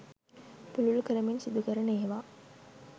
පුළුල් කරමින් සිදු කරන ඒවා.